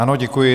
Ano, děkuji.